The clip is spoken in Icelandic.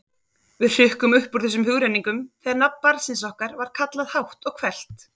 Við hrukkum upp úr þessum hugrenningum þegar nafn barnsins okkar var kallað hátt og hvellt.